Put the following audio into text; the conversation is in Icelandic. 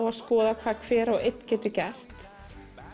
að skoða hvað hver og einn getur gert